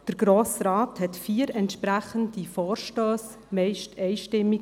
Der Grosse Rat überwies vier entsprechende Vorstösse meist einstimmig.